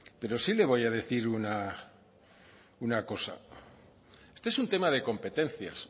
pero sí le voy a decir una cosa este es un tema de competencias